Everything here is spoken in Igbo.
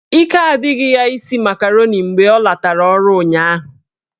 Ike adịghị ya isi makaroni mgbe ọ latara ọrụ ụnyaahụ